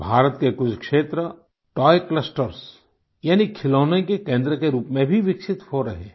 भारत के कुछ क्षेत्र तोय क्लस्टर्स यानी खिलौनों के केन्द्र के रूप में भी विकसित हो रहे हैं